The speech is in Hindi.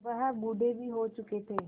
वह बूढ़े भी हो चुके थे